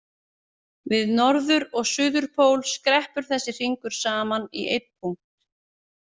Við norður- og suður- pól skreppur þessi hringur saman í einn punkt.